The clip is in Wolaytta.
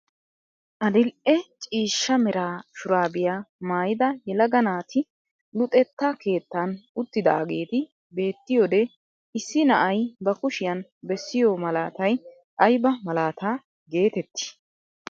Adil'e ciishsha mera shuraabiyaa maayida yelaga naati luxetta keettan uttidaageti beettiyoodee issi na'ay ba kushiyaan bessiyoo malaatay ayba malaataa getettii?